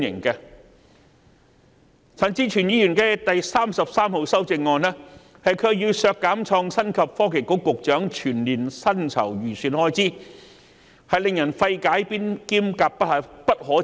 可是，陳志全議員提出的第33號修正案，卻要求削減創新及科技局局長全年薪酬預算開支，實在令人費解及感到不可接受。